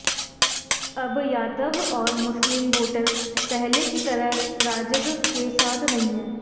अब यादव और मुस्लिम वोटर पहले की तरह राजद के साथ नहीं है